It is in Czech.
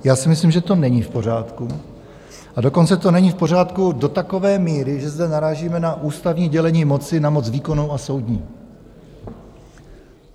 Já si myslím, že to není v pořádku, a dokonce to není v pořádku do takové míry, že zde narážíme na ústavní dělení moci na moc výkonnou a soudní.